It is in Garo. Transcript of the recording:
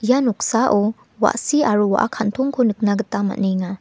ia noksao wa·si aro wa·a kantongko nikna gita man·enga.